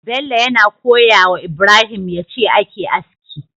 Bello yana koyawa ibrahim yace ake aski